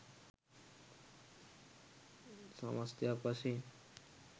සමස්තයක් වශයෙන්